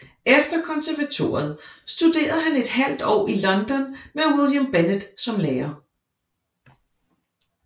Efter konservatoriet studerede han et halvt år i London med William Bennett som lærer